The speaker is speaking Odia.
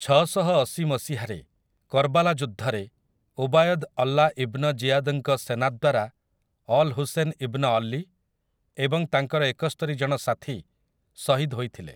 ଛଅଶହଅଶି ମସିହାରେ କର୍ବାଲା ଯୁଦ୍ଧରେ, ଉବାୟଦ୍ ଅଲ୍ଲା ଇବ୍ନ ଜିୟାଦ୍‌ଙ୍କ ସେନା ଦ୍ୱାରା ଅଲ୍ ହୁସେନ୍ ଇବ୍ନ ଅଲୀ ଏବଂ ତାଙ୍କର ଏକସ୍ତରି ଜଣ ସାଥୀ ଶହୀଦ ହୋଇଥିଲେ ।